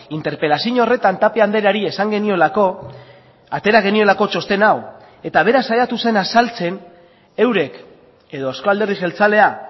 interpelazio horretan tapia andreari esan geniolako atera geniolako txosten hau eta bera saiatu zen azaltzen eurek edo euzko alderdi jeltzalea